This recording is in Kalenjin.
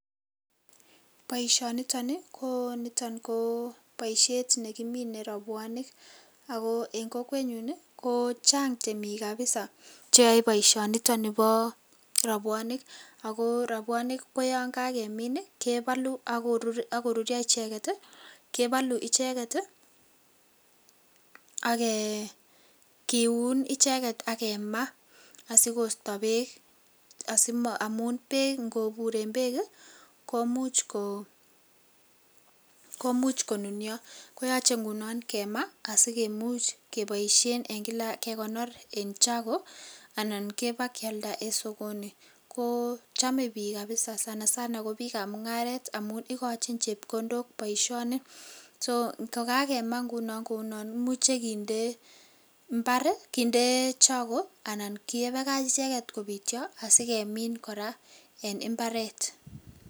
Boisionitoni ko niton koboisiet nekimine rabwonik ago eng kokwenyun, ko chang temik kapisa cheyoe boisionito bo rabwonik. Ago rabwonik ko yon kakemin kebalu ak korurio icheget kebalu icheget ak kiun icheget ak kemaa asigoisto beek. Amun ingoburen beek komuch konunio. Koyoche ngunon kemaa asikimuch keboisien eng kila kekonor eng chago anan kebakialda en sogoni. Kochame biik kapisa. Sanasana ko biikab mungaret amun igochin chepkondok boisioni. Sokokakema ngunon kimuche kinde imbar, kinde chago anan kebakach icheget kopityo asigemin kora en imbaret.